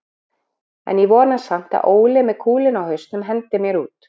En ég vona samt að Óli með kúluna á hausnum hendi mér út.